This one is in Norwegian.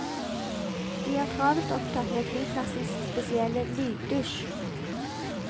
De er travelt opptatt med flyplassens spesielle lyddusj.